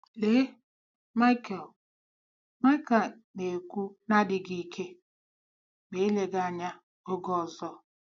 "Lee ," Michael ," Michael na-ekwu n'adịghị ike, " ma eleghị anya oge ọzọ.......? "